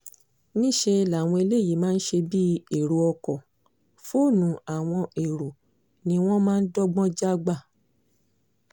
níṣẹ́ làwọn eléyìí máa ṣe bíi ẹ̀rọ ọkọ̀ fóònù àwọn ẹ̀rọ ni wọ́n máa ń dọ́gbọ́n já gbà